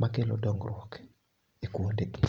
makelo dongruok e kuonde gi